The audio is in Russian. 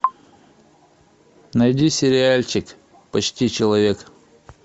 найди сериальчик почти человек